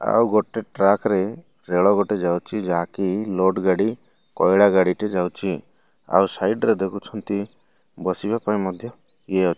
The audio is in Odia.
ଆଉ ଗୋଟେ ଟ୍ରାକ ରେ ରେଳ ଗୋଟେ ଯାଉଛି ଯାହାକି ଲୋଡ୍ ଗାଡି କୈଳା ଗାଡ଼ିଟେ ଯାଉଛି ଆଉ ସାଇଡ ରେ ଦେଖୁଛନ୍ତି ବସିବା ପାଇଁ ମଧ୍ୟ ଇଏ --